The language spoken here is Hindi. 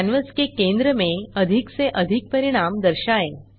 कैनवास के केंद्र में अधिक से अधिक परिणाम दर्शाएँ